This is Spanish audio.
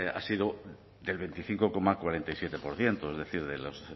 ha sido del veinticinco coma cuarenta y siete por ciento es decir de los